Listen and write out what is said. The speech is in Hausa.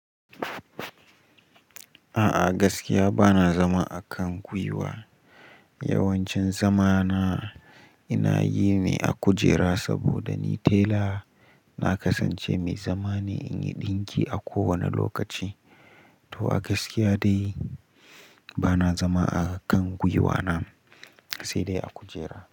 A'a gaskiya bana zama a kan gwiwa. Yawancin zama na, ina yi ne a kujera saboda ni tela na kasance mai zama ne, in yi ɗinki a kowane lokaci. To a gaskiya dai bana zama a kan gwiwa na, sai dai a kujera.